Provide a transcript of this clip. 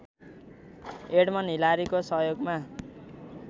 Edmund हिलारीको सहयोगमा